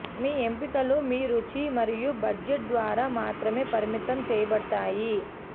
మీ ఎంపికలు మీ రుచి మరియు బడ్జెట్ ద్వారా మాత్రమే పరిమితం చేయబడతాయి